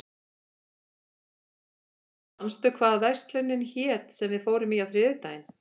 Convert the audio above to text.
Ást, manstu hvað verslunin hét sem við fórum í á þriðjudaginn?